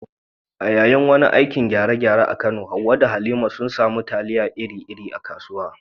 A yayin wani aikin gyare-gyare a Kano, Hawwa da Halima sun samu tayal iri-iri a kasuwar